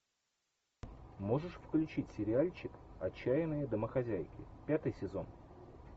можешь включить сериальчик отчаянные домохозяйки пятый сезон